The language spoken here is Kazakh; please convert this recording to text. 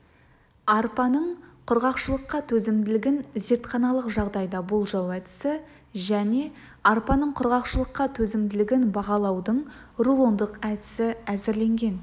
арпаның құрғақшылыққа төзімділігін зертханалық жағдайда болжау әдісі және арпаның құрғақшылыққа төзімділігін бағалаудың рулондық әдісі әзірленген